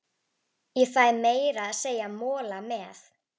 Ég fæ meira að segja mola með.